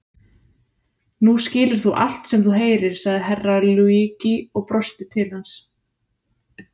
Nú skilur þú allt sem þú heyrir, sagði Herra Luigi og brosti til hans.